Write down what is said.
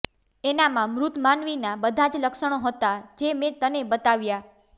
એનામાં મૃત માનવીનાં બધાં જ લક્ષણો હતાં જે મેં તને બતાવ્યાં